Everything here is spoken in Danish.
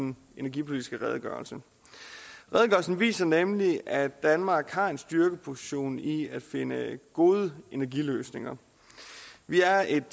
en energipolitisk redegørelse redegørelsen viser nemlig at danmark har en styrkeposition i at finde gode energiløsninger vi er et